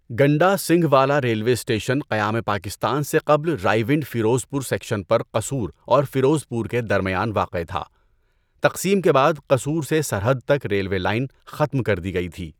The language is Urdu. گنڈا سنگھ والا ریلوے اسٹیشن قیام پاکستان سے قبل رائیونڈ فیروزپور سیکشن پر قصور اور فیروزپور کے درمیان واقع تھا۔ تقسیم کے بعد قصور سے سرحد تک ریلوے لائن ختم کر دی گئی تھی۔